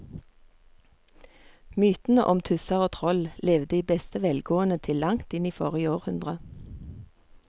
Mytene om tusser og troll levde i beste velgående til langt inn i forrige århundre.